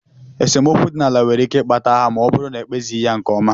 Esemokwu dị n'ala nwere ike ikpata agha ma ọ bụrụ na ekpezighi ya nke ọma.